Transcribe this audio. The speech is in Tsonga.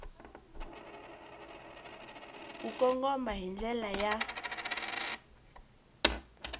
ku kongoma hi ndlela ya